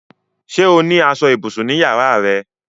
Sé o ní aṣọ ibùsùn ní yàrá rẹ?